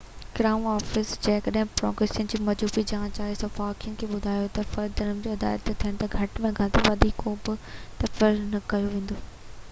crown office جنهن وٽ prosecution جي مجموعي چارج آهي صحافين کي ٻڌايو ته فرد جرم عائد ٿيڻ تائين گهٽ ۾ گهٽ وڌيڪ ڪو به تبصرو نه ڪيو ويندو